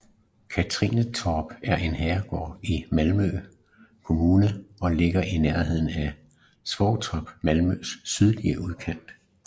Katrinetorp er en herregård i Malmø Kommune og ligger i nærheden af Svågertorp i Malmøs sydlige udkant